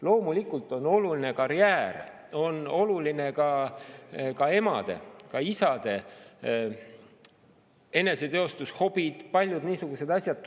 Loomulikult on oluline karjäär, on olulised ka emade-isade eneseteostus, hobid, turvatunne ja paljud niisugused asjad.